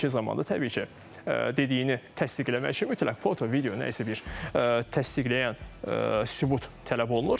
İndiki zamanda təbii ki, dediyini təsdiq eləmək üçün mütləq foto, video, nə isə bir təsdiqləyən sübut tələb olunur.